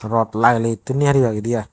rot lageley etun ni pareba edey aai